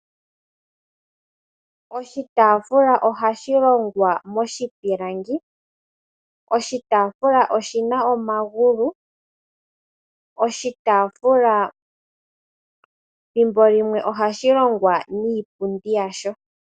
Oshitaafula ohashi longwa moshipilangi. Oshitaafula oshina omagulu. Oshitaafula thimbo limwe ohashi longwa niipundi yasho.